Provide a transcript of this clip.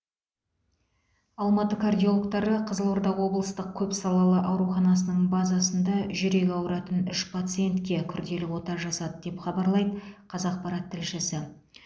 алматы кардиологтары қызылорда облыстық көпсалалы ауруханасының базасында жүрегі ауыратын үш пациентке күрделі ота жасады деп хабарлайды қазақпарат тілшісі